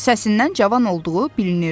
Səsindən cavan olduğu bilinirdi.